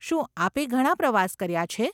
શું આપે ઘણાં પ્રવાસ કર્યાં છે?